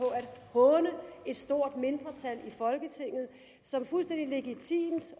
håne et stort mindretal i folketinget som fuldstændig legitimt